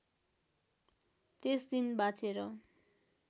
त्यस दिन बाँचेर